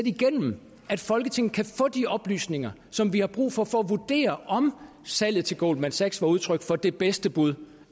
igennem at folketinget kan få de oplysninger som vi har brug for for at vurdere om salget til goldman sachs var udtryk for det bedste bud